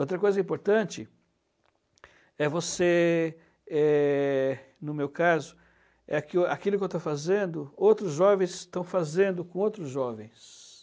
Outra coisa importante é você eh... no meu caso, aquilo que eu estou fazendo, outros jovens estão fazendo com outros jovens.